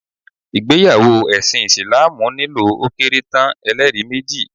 ìgbéyàwó ẹṣin Isilaamu nílò ó kéré tán, ẹ́lẹ́rìí méjì